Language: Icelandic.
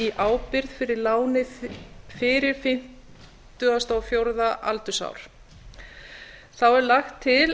ábyrgð fyrir láni fyrir fimmtíu og fjögurra ára aldur þá er lagt til